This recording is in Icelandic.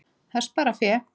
Það sparar fé.